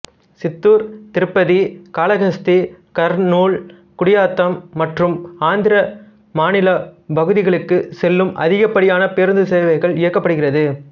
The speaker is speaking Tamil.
சித்தூர் திருப்பதி காளஹஸ்தி கர்னூல் குடியாத்தம் மற்றும் ஆந்திர மாநில பகுதிகளுக்கு செல்லும் அதிகப்படியான பேருந்து சேவைகள் இயக்கப்படுகிறது